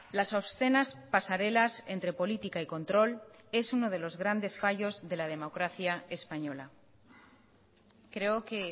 las obscenas pasarelas entre política y control es uno de los grandes fallos de la democracia española creo que